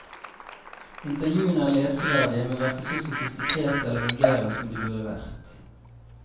Intervjuene er leseverdige, men hverken så sofistikerte eller vulgære som de burde vært.